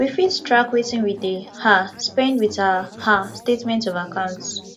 we fit track wetin we dey um spend with our um statement of account